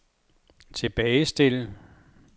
tilbagestil